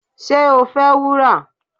ṣé o fẹ́ wúrà?